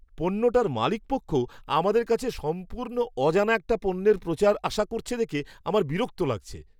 পণ্যটার মালিকপক্ষ আমাদের কাছে সম্পূর্ণ অজানা একটা পণ্যের প্রচার আশা করছে দেখে আমার বিরক্ত লাগছে।